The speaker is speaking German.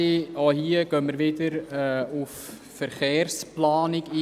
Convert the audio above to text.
Wir fahren weiter und kommen zur Planungserklärung 5, Alberucci, Baumann, Aeschlimann.